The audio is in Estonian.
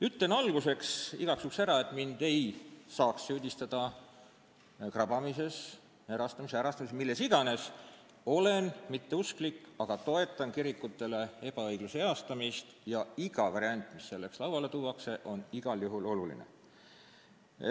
Ütlen alguses igaks juhuks ära, et mind ei saaks süüdistada krabamises, erastamises, ärastamises või milles iganes: ma ei ole usklik, aga toetan kirikutele ebaõigluse heastamist ja iga variant, mis selleks lauale tuuakse, on oluline.